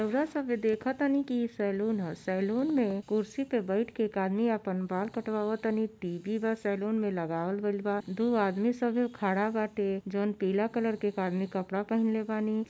रउरा सभे देखतानी की ई सैलून ह। सैलून में कुर्सी पे बइठ के एक आदमी आपन बाल कटवा तनी। टी.वी. बा सैलून में लगावल गइल बा दो आदमी सबे खड़ा बाटे जॉन पीला कलर के आदमी कपड़ा पहिनले बानी।